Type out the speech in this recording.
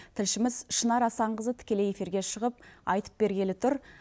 тілшіміз шынар асанқызы тікелей эфиреге шығып айтып бергелі тұр